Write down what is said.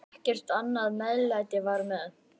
Ekkert annað meðlæti var með.